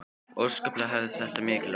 Óskaplega hafði þetta mikil áhrif á mig.